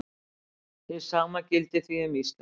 Hið sama gildir því um íslenskt mál.